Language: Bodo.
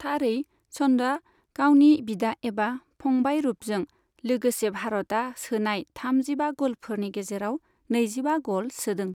थारै, चन्दआ गावनि बिदा एबा फंबाय रुपजों लोगोसे भारातआ सोनाय थामजिबा गलफोरनि गेजेराव नैजिबा गल सोदों।